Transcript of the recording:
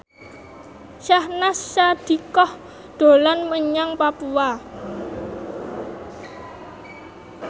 Syahnaz Sadiqah dolan menyang Papua